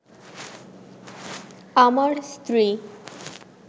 আমার স্ত্রী